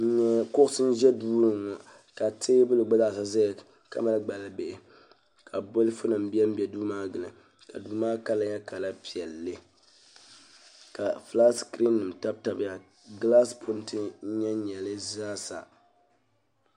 Kuɣusi n ʒɛ duuni ka teebuli gba zaa zaya ka mali gbali bihi ka bolifu nima benbe duu maa gili ka duu maa kala nyɛ kala piɛlli ka filaati sikirin nyɛ sin tabi tabiya gilaasi punti n nyɛn nyɛ di zaasa.